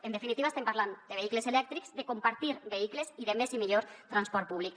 en definitiva estem parlant de vehicles elèctrics de compartir vehicles i de més i millor transport públic